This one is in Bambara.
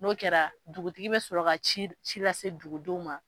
N'o kɛra dugutigi bɛ sɔrɔ ci ci lase dugudenw ma.